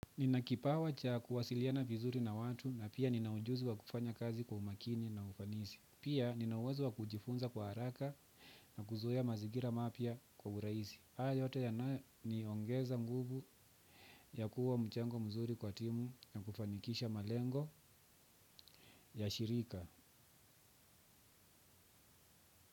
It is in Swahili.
Nina kipawa cha kuwasiliana vizuri na watu na pia ninaujuzi wa kufanya kazi kwa umakini na ufanisi. Pia nina uwezo wa kujifunza kwa haraka na kuzoea mazigira mapya kwa uraisi. Haya yote yananiongeza nguvu ya kuwa mchango mzuri kwa timu na kufanikisha malengo ya shirika.